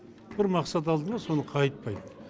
бір мақсат алды ма соны қайтпайды